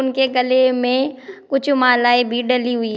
उनके गले में कुछ मालाएं भी डली हुई--